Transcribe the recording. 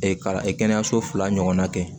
kalanso fila ɲɔgɔnna kɛ